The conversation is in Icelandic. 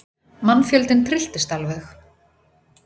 Mannfjöldinn trylltist alveg.